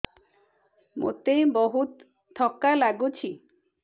ମୋତେ ବହୁତ୍ ଥକା ଲାଗୁଛି